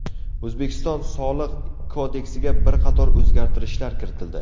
O‘zbekiston Soliq kodeksiga bir qator o‘zgartirishlar kiritildi.